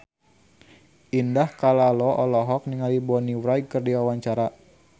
Indah Kalalo olohok ningali Bonnie Wright keur diwawancara